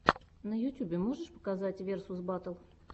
на ютьюбе можешь показать версус баттл